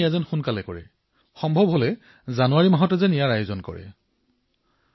কৃপা কৰি ইয়াক অতি শীঘ্ৰে অনুষ্ঠিত কৰক যদি সম্ভৱ হয় জানুৱাৰীতেই এই কাৰ্যসূচীৰ আয়োজন কৰক